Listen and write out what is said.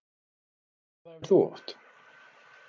Hvað æfir þú oft?